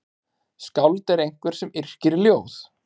Skáld er einhver sem yrkir ljóð.